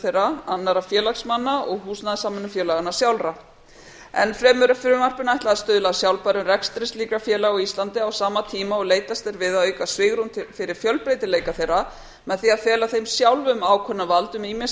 þeirra annarra félagsmanna og húsnæðissamvinnufélaganna sjálfra enn fremur er frumvarpinu ætlað að stuðla að sjálfbærum rekstri slíkra félaga á íslandi á sama tíma og leitast er við að auka svigrúm fyrir fjölbreytileika þeirra með því að fela þeim sjálfum ákvörðunarvald um ýmis